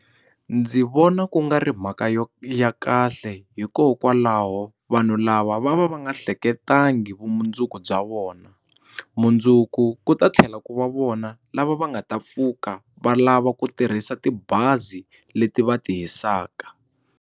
Ndzi vona ku nga ri mhaka yo ya kahle hikokwalaho vanhu lava va va va nga ehleketangi vumundzuku bya vona mundzuku ku ta tlhela ku va vona lava va nga ta pfuka va lava ku tirhisa tibazi leti va ti hisaka.